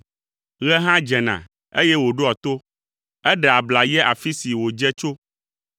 Ɣe hã dzena eye wòɖoa to; eɖea abla yia afi si wòdze tso.